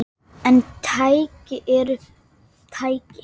Við áttum þar góða stund.